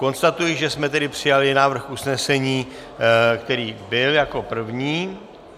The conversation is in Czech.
Konstatuji, že jsme tedy přijali návrh usnesení, který byl jako první.